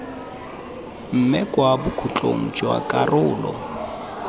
mme kwa bokhutlong jwa karolo